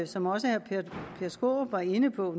som også herre peter skaarup var inde på